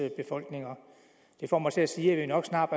befolkninger det får mig til at sige at vi nok snart